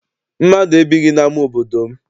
Mmadụ ebighị n'ama obodo m.